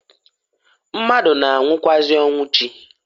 Mmadu na-anwụkwaazi ọnwụ chi.